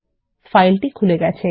ফাইলটি খুলে গেছে